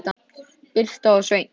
Birta og Sveinn.